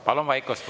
Palun vaikust!